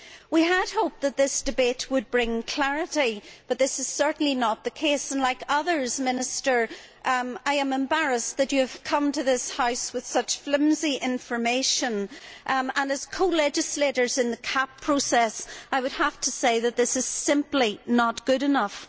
We had hoped that this debate would bring clarity, but this is certainly not the case and like others, Minister, I am embarrassed that you have come to this House with such flimsy information. As co legislators in the CAP process, I would have to say that this is simply not good enough.